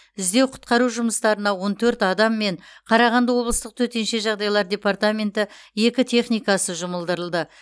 іздеу құтқару жұмыстарына он төрт адам мен қарағанды облыстық төтенше жағдайлар департменті екі техникасы жұмылдырылды